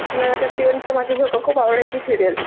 मला तर ती उंच माझा झोका खूप आवडायची सीरियल.